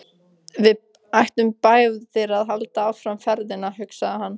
Við ættum báðir að halda áfram ferðinni, hugsaði hann.